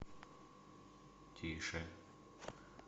тише